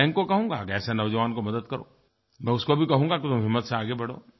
मैं बैंक को कहूँगा कि ऐसे नौजवान को मदद करो मैं उसको भी कहूँगा कि हिम्मत से आगे बढ़ो